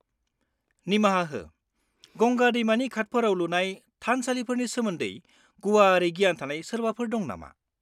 -निमाहा हो, गंगा दैमानि घाटफोराव लुनाय थानसालिफोरनि सोमोन्दै गुवारै गियान थानाय सोरबाफोर दं नामा?